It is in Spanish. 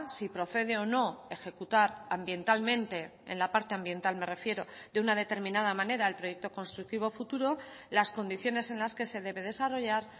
si procede o no ejecutar ambientalmente en la parte ambiental me refiero de una determinada manera el proyecto constructivo futuro las condiciones en las que se debe desarrollar